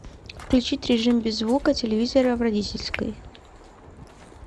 включить режим без звука телевизора в родительской